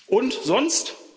Und, sonst?